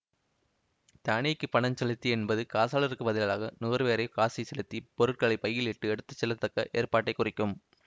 தானிக்கி பணம்செலுத்தி என்பது காசாளருக்குப் பதிலாக நுகர்வோரே காசைச் செலுத்தி பொருட்களை பையில் இட்டு எடுத்து செல்லத்தக்க ஏற்பாட்டைக் குறிக்கும்